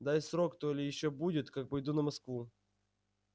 дай срок то ли ещё будет как пойду на москву